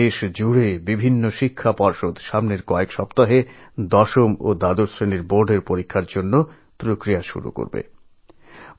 সারা দেশের বিভিন্ন শিক্ষা সংসদদশম ও দ্বাদশ শ্রেণীর বোর্ড পরীক্ষার জন্য প্রস্তুতি শুরু করবে